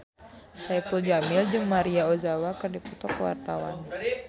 Saipul Jamil jeung Maria Ozawa keur dipoto ku wartawan